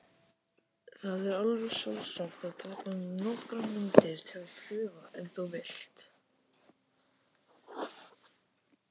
Það er alveg sjálfsagt að taka nokkrar myndir til prufu ef þú vilt.